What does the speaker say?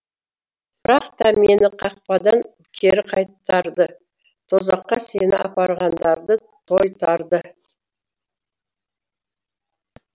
бірақ та мені қақпадан кері қайтарды тозаққа сені апарғандарды тойтарды